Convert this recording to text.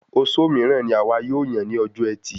Ozo míràn ní àwa yóò yàn ní ọjọ ẹtì